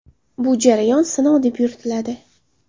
Bu jarayon sinov deb yuritiladi.